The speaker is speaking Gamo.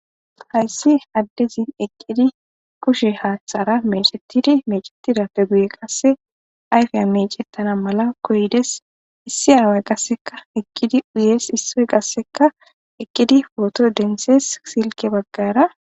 hayssi addezin eqqidi kushe haaththara mecettidi meecetidappe buye qasse ayfiya mecettana mala koydes issi away qasseka eqqidi uyes issoy qasseka eqqidi pooto densees silke baggara